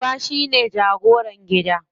Uba shine jagoran gida.